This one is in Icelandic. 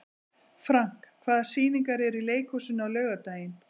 Frank, hvaða sýningar eru í leikhúsinu á laugardaginn?